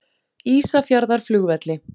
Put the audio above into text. Ísafjarðarflugvelli